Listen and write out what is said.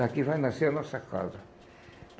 Daqui vai nascer a nossa casa.